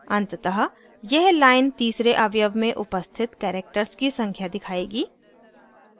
अंततः यह line तीसरे अवयव में उपस्थित characters की संख्या दिखाएगी